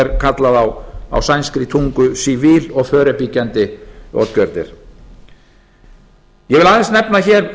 er kallað á sænskri tungu civil og förebyggande åtgärder ég vil aðeins nefna hér